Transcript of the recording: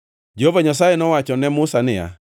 Jehova Nyasaye nowacho ne Musa niya,